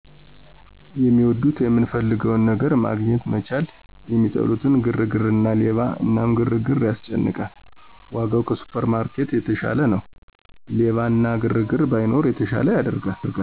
የሚወዱት የምንፈልገውን ነገር መግኘት መቻል የሚጠሉት ግርግርና ሌባ እናም ግርግር ያስጨንቃል ወጋው ከሱፐርማርኬት የተሸለ ነው። ሌባ እና ግርግር ባይኖር የተሸለ ያደርጋል